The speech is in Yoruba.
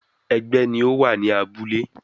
ẹgbẹ́ ni ó wà ní abúlé.